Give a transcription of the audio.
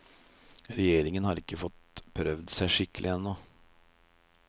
Regjeringen har ikke fått prøvd seg skikkelig ennå.